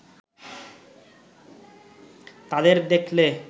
তাদের দেখলে